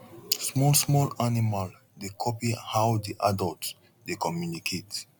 small small animal dey copy how the adult dey communicate